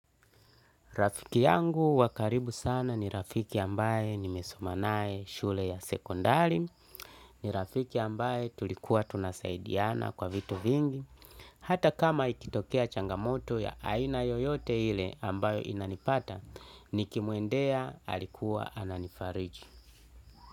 Rafiki yangu wakaribu sana ni rafiki ambaye nimesomanae shule ya sekondari, ni rafiki ambaye tulikuwa tunasaidiana kwa vitu vingi, hata kama ikitokea changamoto ya aina yoyote ile ambayo inanipata, nikimwendea alikuwa ananifariji.